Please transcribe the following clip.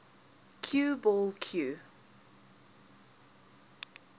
cue ball cue